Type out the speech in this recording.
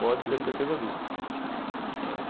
Pode ter certeza disso. É